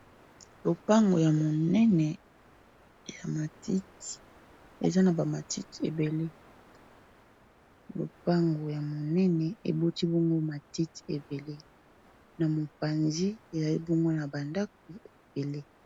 Lopango ya monene ya matiti, eza na ba matiti ebele. Lopango ya monene eboti bongo matiti ebele n'a mopanzi ezali bongo na ba ndaku ebele.